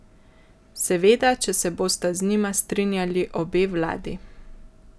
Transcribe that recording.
Seveda, če se bosta z njima strinjali obe vladi.